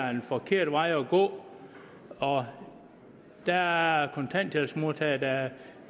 er den forkerte vej at gå og der er kontanthjælpsmodtagere der